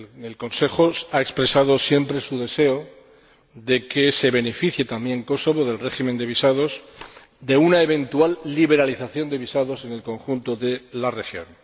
El Consejo ha expresado siempre su deseo de que se beneficiase también Kosovo del régimen de visados, de una eventual liberalización de visados en el conjunto de la región.